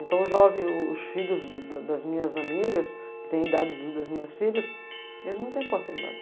Então os jovens, os filhos das minhas amigas, que têm a idade das minhas filhas, eles não têm oportunidade.